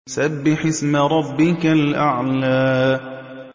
سَبِّحِ اسْمَ رَبِّكَ الْأَعْلَى